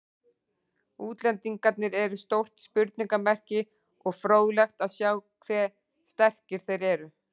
Útlendingarnir eru stórt spurningamerki og fróðlegt að sjá hve sterkir þeir eru.